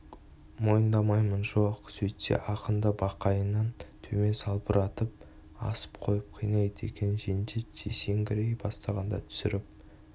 мойындамаймын жоқ мойындайсың сөйтсе ақынды бақайынан төмен салбыратып асып қойып қинайды екен жендет есеңгірей бастағанда түсіріп